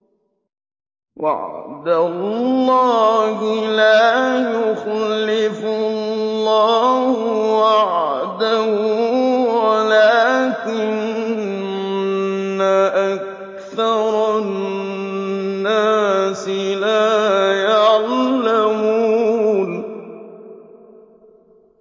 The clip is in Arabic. وَعْدَ اللَّهِ ۖ لَا يُخْلِفُ اللَّهُ وَعْدَهُ وَلَٰكِنَّ أَكْثَرَ النَّاسِ لَا يَعْلَمُونَ